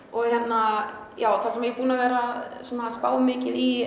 og hérna já það sem ég er búin að vera að spá mikið í